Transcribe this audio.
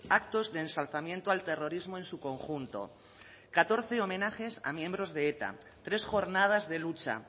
actos de ensalzamiento al terrorismo en su conjunto catorce homenajes a miembros de eta tres jornadas de lucha